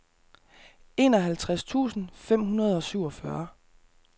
enoghalvtreds tusind fem hundrede og syvogfyrre